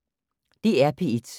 DR P1